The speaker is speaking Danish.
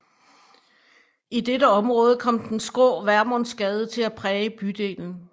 I dette område kom den skrå Vermundsgade til at præge bydelen